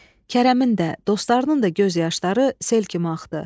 Kərəmin də, dostlarının da göz yaşları sel kimi axdı.